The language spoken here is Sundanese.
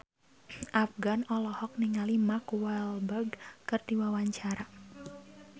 Afgan olohok ningali Mark Walberg keur diwawancara